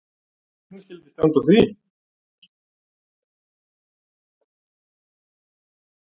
En hvernig skyldi standa á því?